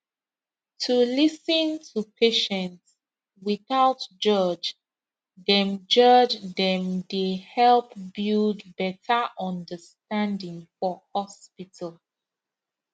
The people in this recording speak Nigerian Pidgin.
to lis ten to patient without judge dem judge dem dey help build better understanding for hospital